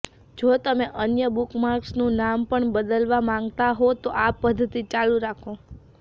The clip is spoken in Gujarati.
જો તમે અન્ય બુકમાર્ક્સનું નામ પણ બદલવા માંગતા હો તો આ પદ્ધતિ ચાલુ રાખો